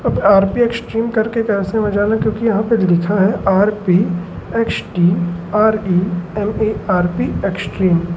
यहां पे आर_पी एक्ट्रीम कर के कैफे में जाना क्योंकि यहां पे जो लिखा है आर_पी एक्स_टी_आर_ई_एम_ए_आर_पी एक्सट्रीम ।